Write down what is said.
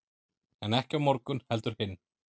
en ekki á morgun heldur hinn